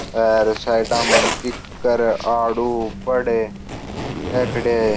आएर साइडाँ में कीकर आड़ू बड़ ये खड़ा है।